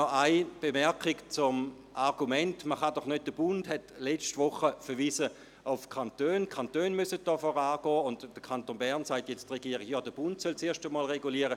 Noch eine Bemerkung zum Argument, dass der Bund auf die Kantone verwiesen und gesagt habe, die Kantone müssten hier vorangehen, während der Kanton Bern sage, der Bund solle zuerst regulieren.